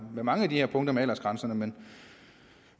med mange af de punkter om aldersgrænser men